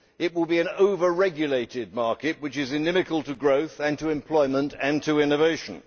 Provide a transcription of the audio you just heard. it will be an over regulated market which is inimical to growth, to employment and to innovation.